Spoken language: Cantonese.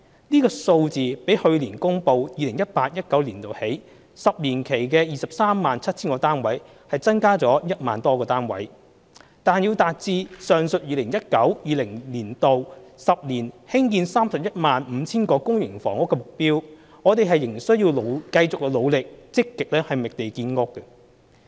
這數字比去年公布 2018-2019 年度起10年期的 237,000 個單位增加了 10,000 多個單位，但要達致上述 2019-2020 年度起10年興建 315,000 個公營房屋的目標，我們仍須繼續努力積極覓地建屋。